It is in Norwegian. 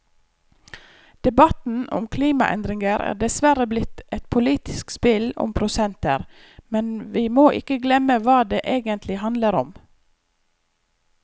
Debatten om klimaendringer er dessverre blitt et politisk spill om prosenter, men vi må ikke glemme hva det egentlig handler om.